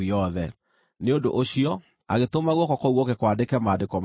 Nĩ ũndũ ũcio agĩtũma guoko kũu gũũke kwandĩke maandĩko macio.